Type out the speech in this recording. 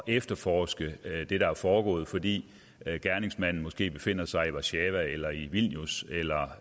efterforske det der er foregået fordi gerningsmanden måske befinder sig i warszava eller i vilnius eller